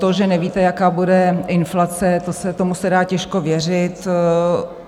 To, že nevíte, jaká bude inflace, tomu se dá těžko věřit.